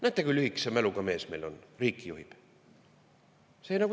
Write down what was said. Näete, kui lühikese mäluga mees meil on, riiki juhib!